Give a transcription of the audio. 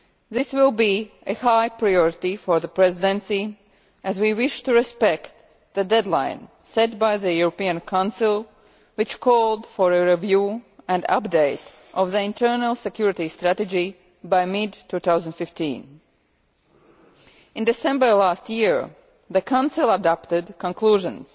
This will be a high priority for the Presidency, as we wish to respect the deadline set by the European Council calling for a review and update of the internal security strategy by mid 2015. In December last year the Council adopted conclusions